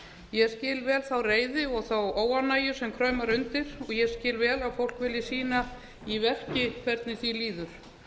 ég skil vel þá reiði og óánægju sem kraumar undir ég skil vel að fólk vilji sýna í verki hvernig því líður